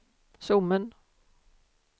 Sommen